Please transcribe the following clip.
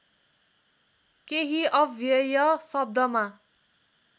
केही अव्यय शब्दमा